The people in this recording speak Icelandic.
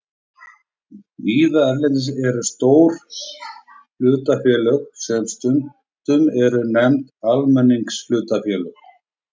Víða erlendis eru til stór hlutafélög sem stundum eru nefnd almenningshlutafélög.